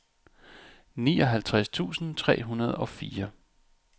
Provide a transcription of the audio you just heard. nioghalvtreds tusind tre hundrede og fire